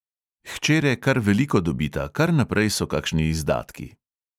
Hčere kar veliko dobita, kar naprej so kakšni izdatki.